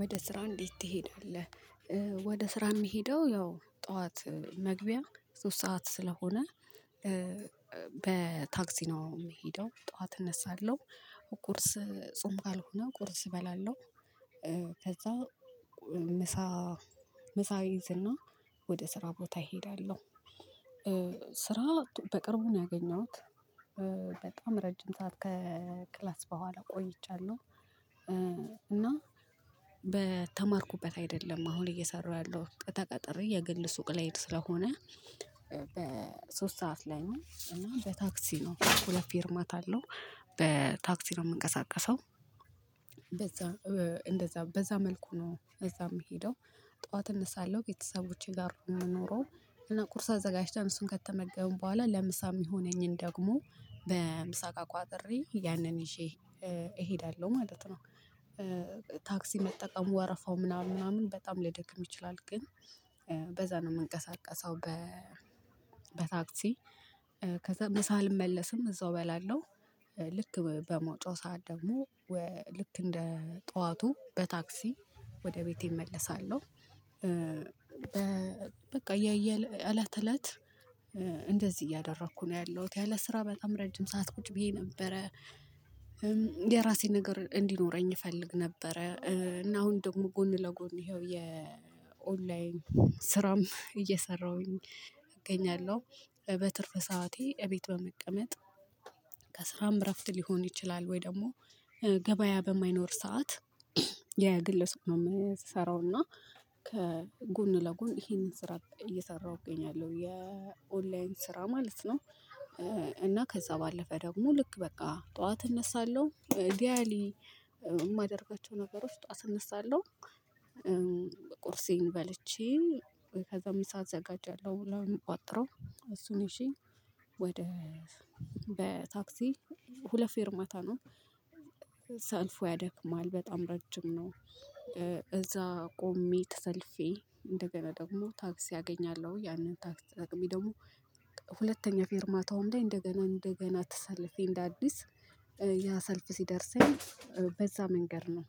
ወደ ስራ እንዴት ትሄዳለህ? ወደ ስራ የምሄደው ያው ጠዋት መግቢያ ሶስት ሰዓት ስለሆነ በታክሲ ነው የምሄደው ጠዋት እነሳለሁ ቁርስ ጾም ካልሆነ ቁርስ እበላለሁ ከዛ ምሳ ምሳ እይዝና ወደ ስራ ቦታ እሄዳለሁ። ስራ በቅርቡ ነው ያገኘሁት በጣም ረጅም ሰዓት ከክላስ በኋላ ቆይቻለሁ እና በተማርኩበት አይደለም አሁን እየሰራሁ ያለው ተቀጥሬ የግል ሱቅ ላይ ስለሆነ በሶስት ሰዓት ላይ ነው እና በታክሲ ነው ሁለት ፌርማታ አለው በታክሲ ነው የምንቀሳቀሰው በዛ እንደዛ እንደዛ በዛ መልኩ ነው እዛ የምሄደው ጠዋት እነሳለሁ ቤተሰቦቼ ጋር ነው የምኖረው እና ቁርስ አዘጋጅተን እሱን ከተመገበው በኋላ ለምሳ የሚሆነኝን ደግሞ በምሳ እቃ ቋጥሬ ያንን ይዤ እሄዳለሁ ማለት ነው። ታክሲ መጠቀም ወረፋው ምናምን ምናምን በጣም ሊያደክም ይችላል ግን በዛ ነው የምንቀሳቀሰው በ በታክሲ ከዛ ምሳ አልመለስም እዛው እበላለሁ ልክ በመውጫው ሰዓት ደግሞ ወ ልክ እንደ ጠዋቱ በታክሲ ወደ ቤቴ እመልሳለሁ በቃ የየል እለት እለት እንደዚህ እያደረኩ ነው ያለሁት ያለ ስራ በጣም ረጅም ሰዓት ቁጭ ብዬ ነበረ የራሴን ነገር እንዲኖረኝ እፈልግ ነበረ እና አሁን ደግሞ ጎን ለጎን ይኸው የኦንላይን ስራም እየሰራሁኝ እገኛለሁ በትርፍ ሰዓቴ እቤት በመቀመጥ ከስራም እረፍት ሊሆን ይችላል ወይ ደግሞ ገበያ በማይኖር ሰዓት የግለ ሰብ ነው የምሰራውና ከጎን ለጎን ይሄንን ስራ እየሰራሁ እገኛለው የኦንላይን ስራ ማለት ነው እና ከዛ ባለፈ ደግሞ ልክ በቃ ጠዋት እነሳለሁ ዲያሊ የማደርጋቸው ነገሮች ጠዋት እነሳለሁ ቁርሴን በልቼ ከዛ ምሳ አዘጋጃለሁ ለምቋጥረው እሱን ይዤ ወደ በታክሲ ሁለት ፌርማታ ነው ሰልፉ ያደክማል በጣም ረጅም ነው እዛ ቆሜ ተሰልፌ እንደገና ደግሞ ታክሲ አገኛለሁ ያንን ታክሲ ተጠቅሜ ደግሞ ሁለተኛ ፌርማታውም ላይ እንደገና እንደገና ተሰልፌ እንደ አዲስ ያ ሰልፍ ሲደርሰኝ በዛ መንገድ ነው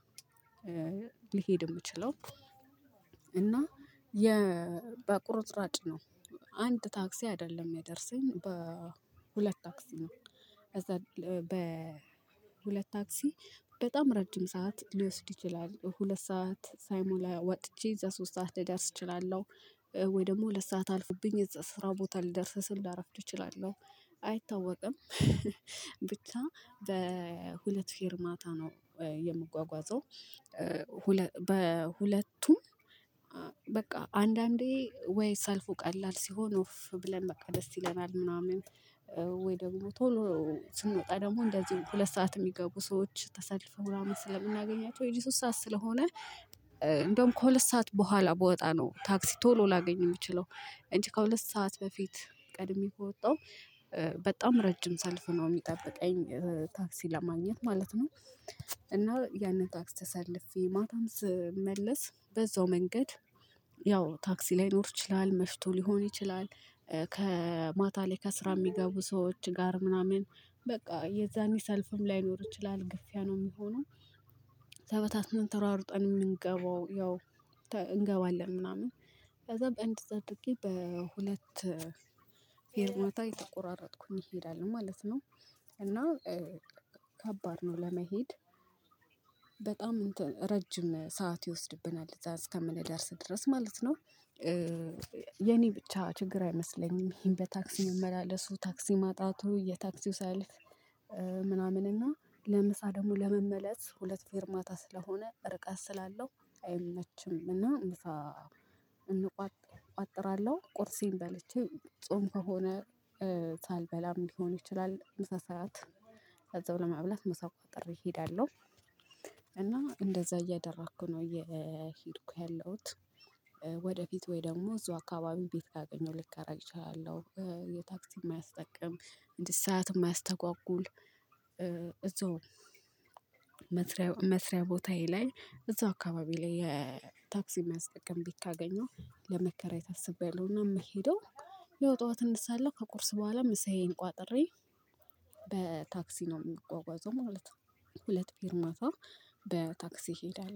ልሄድ የምችለው እና የ በቁርጥራጭ ነው አንድ ታክሲ አይደለም የሚያደረሰኝ በሁለት ታክሲ ነው። ከዛ በሁለት ታክሲ በጣም ረጅም ሰዓት ሊወስድ ይችላል ሁለት ሰዓት ሳይሞላ ወጥቼ እዛ ሶስት ሰዓት ልደርስ እችላለሁ። ወይ ደግሞ ሰዓት አልፎብኝ እዛ ስራ ቦታ ልደርስ ስል ላረፍድ እችላለሁ አይታወቅም ብቻ በሁለት ፌርማታ ነው የምጓጓዘው ሁለ በሁለቱም በቃ አንዳንዴ ወይ ሰልፉ ቀላል ሲሆን ኡፍ ብለን በቃ ደስ ይለናል ምናምን ወይ ደግሞ ቶሎ ስንወጣ ደግሞ እንደዚህ ሁለት ሰዓት የሚገቡ ሰዎች ተሰልፈው ምናምን ስለምናገኛቸው የዚህ ሶስት ሰዓት ስለሆነ እንደውም ከሁለት ሰዓት በኋላ ብወጣ ነው ታክሲ ቶሎ ላገኝ የምችለው እንጂ ከሁለት ሰዓት በፊት ቀድሜ ከወጣሁ በጣም ረጅም ሰልፍ ነው የሚጠብቀኝ ታክሲ ለማግኘት ማለት ነው እና ያንን ታክሲ ተሰልፌ ማታም ስመለስ በዛው መንገድ ያው ታክሲ ላይኖር ይችላል መሽቶ ሊሆን ይችላል ከማታ ላይ ከስራ የሚገቡ ሰዎች ጋር ምናምን በቃ የዛኔ ሰልፍም ላይኖር ይችላል ግፊያ ነው የሚሆነው ተበታትን ተሯሩጠን የምንገባው ያው ተ እንገባለን ምናምን ከዛ እንደዛ አድርጌ በሁለት ፈርማታ የተቆራረጥኩኝ እሄዳለው ማለት ነው እና ከባድ ነው ለመሄድ በጣም እንትን ረጅም ሰዓት ይወስድብናል እዛ እስከምንደርስ ድረስ ማለት ነው የኔ ብቻ ችግር አይመስለኝም ይሄን በታክሲ መመላለሱ ታክሲ ማጣቱ የታክሲው ሰይልፍ ምናምን እና ለምሳ ደግሞ ለመመለስ ሁለት ፌርማታ ስለሆነ ርቀት ስላለው አይመችም እና ምሳ እንቋጥ ቋጥራለሁ ቁርሴን በልቼ ጾም ከሆነ ሳልበላም ሊሆን ይችላል ምሳ ሰዓት እዛው ለመብላት ምሳ ቋጥሬ እሄዳለሁ እና እንደዛ እያደረኩ ነው እየሄድኩ ያለሁት ወደፊት ወይ ደግሞ እዛው አካባቢ ቤት ካገኘሁ ልከራይ እችላለው የታክሲ የማያስጠቅም እንዲህ ሰዓት የማያስተጓጉል እዛው መስሪያ መስሪያ ቦታዬ ላይ እዛው አካባቢ ላይ የታክሲ የማያስጠቅም ቤት ካገኘው ለመከራየት አስቤአለው እና የምሄደው ያው ጠዋት እነሳለው ከቁርስ በኋላ ምሳዬን ቋጥሬ በታክሲ ነው የምጓጓዘው ማለት ነው ሁለት ፌርማታ በታክሲ እሄዳለው